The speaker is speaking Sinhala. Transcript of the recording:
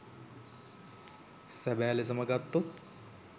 සැබෑ ලෙසම ගත්තොත්